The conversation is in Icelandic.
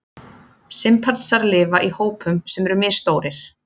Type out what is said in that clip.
Simpansar lifa í hópum sem eru misstórir.